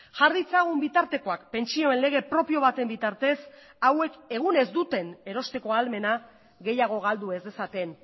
jar ditzagun bitartekoak pentsioen lege propio baten bitartez hauek egun ez duten erosteko ahalmena gehiago galdu ez dezaten